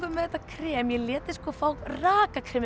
með þetta krem ég lét þig fá rakakremið